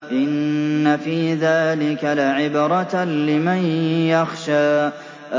إِنَّ فِي ذَٰلِكَ لَعِبْرَةً لِّمَن يَخْشَىٰ